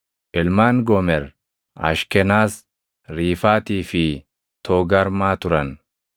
Ilmaan Goomer: Ashkenas, Riifaatii fi Toogarmaa turan.